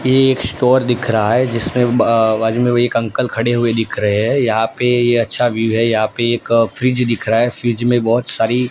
ये एक स्टोर दिख रहा है जिसमें बा बाजू में एक अंकल खड़े हुए दिख रहे हैं यहां पे ये अच्छा व्यू है यहां पे एक फ्रिज दिख रहा है फ्रिज में बहोत सारी--